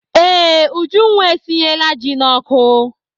Ee, Ujunwa esinyela ji n'ọkụ.